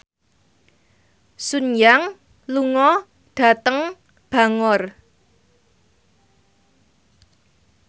Sun Yang lunga dhateng Bangor